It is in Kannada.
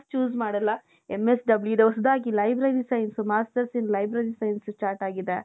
choose ಮಾಡಲ್ಲಾ MSW ಇದು ಹೊಸದಾಗಿ library science. Masters in library science start ಆಗಿದೆ.